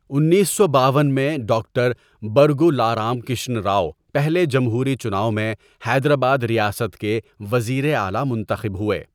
انیس سو باون میں، ڈاکٹر برگولا رام کرشن راؤ پہلے جمہوری چناو ٔمیں حیدرآباد ریاست کے وزیر اعلیٰ منتخب ہوئے۔